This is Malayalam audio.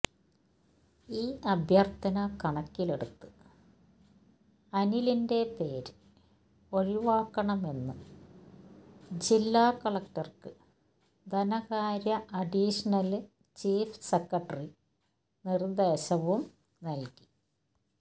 ഈ അഭ്യര്ഥന കണക്കിലെടുത്ത് അനിലിന്റെ പേര് ഒഴിവാക്കണമെന്ന് ജില്ലാ കളക്ടര്ക്ക് ധനകാര്യ അഡീഷണല് ചീഫ് സെക്രട്ടറി നിര്ദേശവും നല്കി